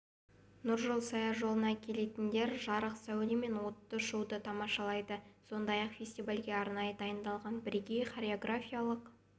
нұржол саяжолына келетіндер жарық сәуле мен отты шоуды тамашалайды сондай-ақ фестивальге арнайы дайындалған бірегей хореографиялық